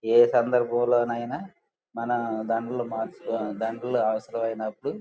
ఏ సందర్భం లో నైనా మన దండలు మార్చుకు-దండాలు అవసరమైనపుడు--